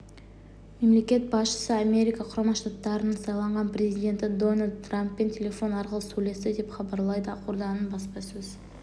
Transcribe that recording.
мемлекет басшысы америка құрама штаттарының сайланған президенті дональд трамппен телефон арқылы сөйлесті деп хабарлайды ақорданың баспасөз